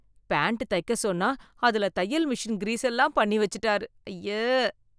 Pant தைக்க சொன்னா அதுல தையல் மிஷின் கிரீஸ் எல்லாம் பண்ணி வச்சுட்டாரு, அய்யே.